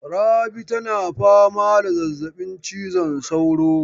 Rabi tana fama da zazzabin cizon saura.